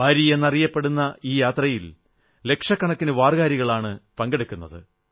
വാരി എന്നറിയപ്പെടുന്ന ഈ യാത്രയിൽ ലക്ഷക്കണക്കന് വാർകരികളാണ് പങ്കെടുക്കുന്നത്